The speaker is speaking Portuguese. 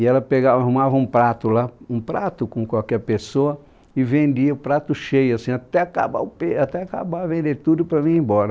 E ela pegava, arrumava um prato lá, um prato com qualquer pessoa, e vendia o prato cheio, assim, até acabar o pe, até acabar, vender tudo para vir embora.